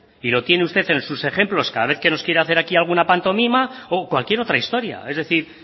y lo tiene usted en sus ejemplos cada vez que nos quiere hacer aquí alguna pantomima o cualquier otra historia es decir